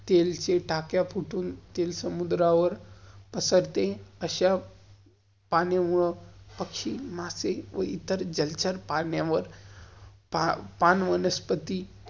तेल हे टाक्या फुतुन, तेल समुद्रावर पसरते. अश्या पाण्यामुळं, पक्षी, मासे व इतर जल पाण्यावर, पान वनस्पति